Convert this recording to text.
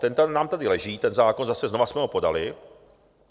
Ten nám tady leží, ten zákon, zase znova jsme ho podali.